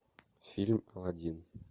фильм аладдин